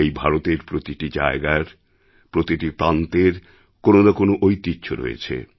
এই ভারতের প্রতিটিজায়গার প্রতি প্রান্তের কোনো না কোনো ঐতিহ্য রয়েছে